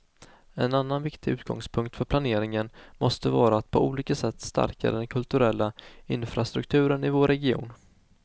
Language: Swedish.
En annan viktig utgångspunkt för planeringen måste vara att på olika sätt stärka den kulturella infrastrukturen i vår region.